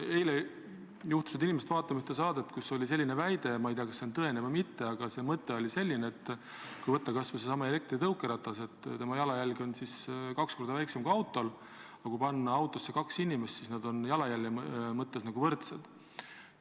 Eile juhtusid inimesed vaatama ühte saadet, kus oli selline väide – ma ei tea, kas see on tõene või mitte, aga mõte oli selline –, et kui võtta kas või seesama elektritõukeratas, siis tema jalajälg on kaks korda väiksem kui autol, aga kui panna autosse kaks inimest, siis on nad jalajälje mõttes võrdsed.